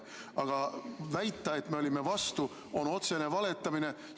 Aga väita, et me olime vastu, on otsene valetamine.